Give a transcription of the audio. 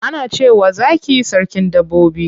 Ana cewa zaki sarkin dabbobi.